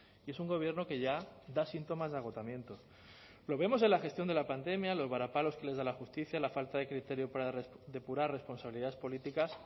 y es un gobierno que ya da síntomas de agotamiento lo vemos en la gestión de la pandemia los varapalos que les de la justicia la falta de criterio para depurar responsabilidades políticas